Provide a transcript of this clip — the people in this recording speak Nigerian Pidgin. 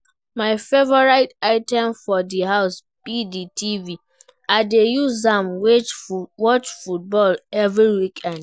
My favourite item for di house be di TV, i dey use am watch football every weekned.